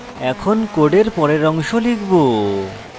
এখন code পরের অংশ লিখব